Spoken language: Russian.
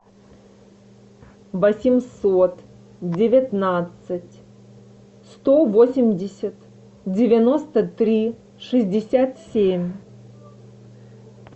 восемьсот девятнадцать сто восемьдесят девяносто три шестьдесят семь